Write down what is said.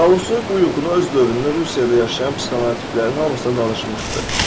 Tolstoy bu yuxunu öz dövründə Rusiyada yaşayan psixoanalitiklərin hamısına danışmışdı.